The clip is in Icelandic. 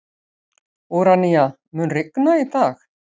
Úranía, mun rigna í dag?